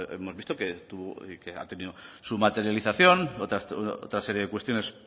hemos visto que tuvo y que ha tenido su materialización otras series de cuestiones